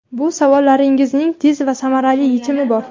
Bu savollaringizning tez va samarali yechimi bor.